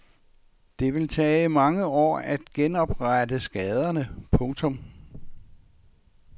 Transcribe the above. Det vil tage mange år at genoprette skaderne. punktum